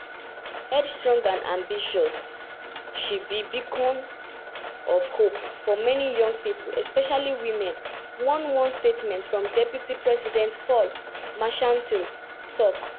notwithstanding her notwithstanding her stong determination bin earn her deep respect for her field.